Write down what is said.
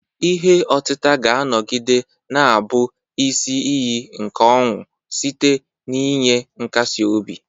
Ihe otita ga-anọgide na-abụ isi iyi nke ọṅụ site n'inye nkasi obi.